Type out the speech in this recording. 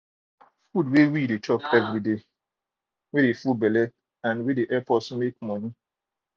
food wey we de chop everyday de full belle and de help us make money